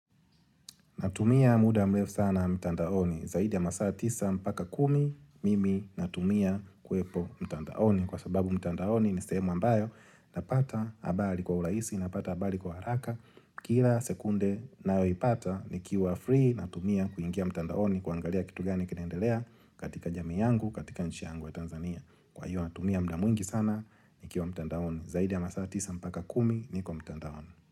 Natumia muda mrefu sana mtandaoni, zaidi ya masaa tisa mpaka kumi, mimi natumia kuepo mtandaoni. Kwa sababu mtandaoni ni sehemu ambayo, napata habari kwa urahisi, napata habari kwa haraka. Kila sekunde nayoipata, nikiwa free, natumia kuingia mtandaoni, kuangalia kitu gani kinaendelea katika jamii yangu, katika nchi yangu ya Tanzania. Kwa hiyo natumia muda mwingi sana, nikiwa mtandaoni. Zaidi ya masaa tisa mpaka kumi, niko mtandaoni.